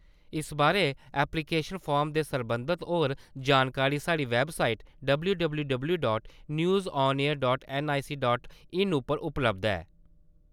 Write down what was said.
इस बारै application form ते सरबंधत होर जानकारी साढ़ी website W W W dot news on A I R dot N I C dot in उप्पर उपलब्ध ऐ ।